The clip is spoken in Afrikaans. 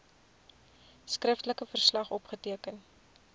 skriftelike verslag opgeteken